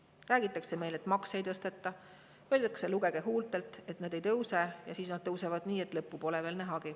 Meil räägitakse, et makse ei tõsteta, öeldakse, lugege mu huultelt, et nad ei tõuse, ja siis nad tõusevad nii, et lõppu pole nähagi.